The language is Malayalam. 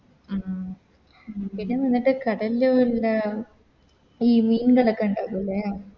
ആ പിന്നെ നിനക്ക് കടലില് എന്താ ഈ മീൻ കെടക്കണ്ടാവൂലെ